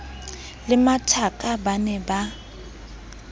le mathaka ba ne ba